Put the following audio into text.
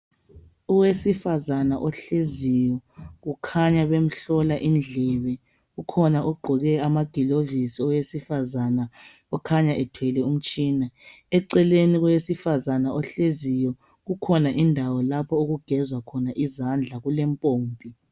Owesifazana ohleziyo kukhanya bemhlola indlebe kukhona ogqoke amagilovisi owesifazana okhanya ethwele umtshina eceleni kowesifazana ohleziyo kukhona indawo lapho okugezwa khona izandla kulempompi.